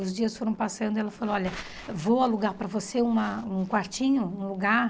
Os dias foram passando e ela falou, olha, vou alugar para você uma um quartinho, um lugar.